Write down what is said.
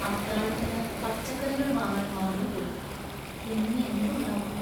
അത്താഴത്തിന് പച്ചക്കറികൾ വാങ്ങാൻ മറന്നുപോയി; ഇന്നിനി എന്ത് ഉണ്ടാക്കും?